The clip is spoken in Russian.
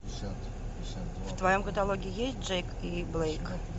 в твоем каталоге есть джейк и блейк